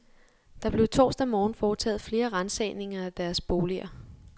Der blev torsdag morgen foretaget flere ransagninger af deres boliger.